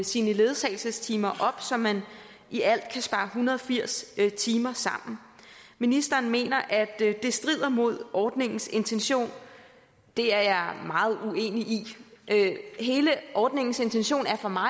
sine ledsagelsestimer op så man i alt kan spare hundrede og firs timer sammen ministeren mener at det strider mod ordningens intention det er meget uenig i hele ordningens intention er for mig